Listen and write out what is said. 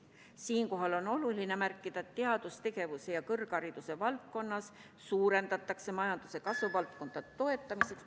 Siinkohal on oluline märkida, et teadustegevuse ja kõrghariduse valdkonnas suurendatakse majanduse kasvuvaldkondade toetamist ...